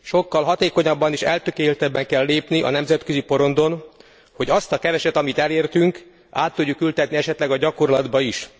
Sokkal hatékonyabban és eltökéltebben kell lépni a nemzetközi porondon, hogy azt a keveset, amit elértünk, át tudjuk ültetni esetleg a gyakorlatba is.